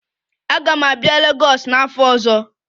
Aga m abịa Legọs n'afọ ọzọ